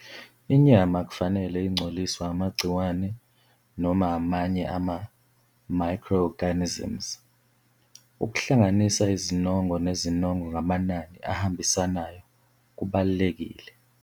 Inyama akufanele ingcoliswe amagciwane noma amanye ama-microorganisms. Ukuhlanganisa izinongo nezinongo ngamanani ahambisanayo kubalulekile.